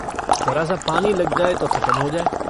जरासा पानी लग जाय तो खतम हो जाय।